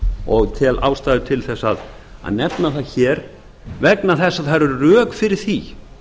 og tel ástæða á að eða það hér vegna þess að það eru rök fyrir því